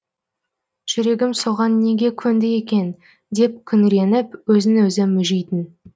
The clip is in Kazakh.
жүрегім соған неге көнді екен деп күңіреніп өзін өзі мүжитін